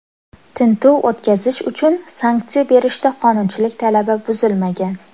Tintuv o‘tkazish uchun sanksiya berishda qonunchilik talabi buzilmagan.